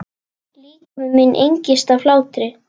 Líkami minn engist af hlátri.